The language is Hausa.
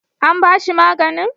An bashi maganin?